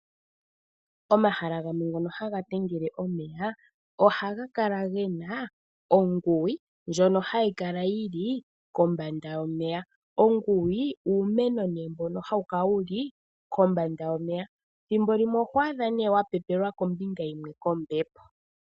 Omahala gamwe ngono haga tengele omeya haga kala gena onguwi, ndjono hayi kala yili kombanda yomeya. Onguwi uumeno nee mbono hawu kala wuli kombanda yomeya, thimbolimwe oho adha nee wa pepelwa kombinga yimwe kombepo.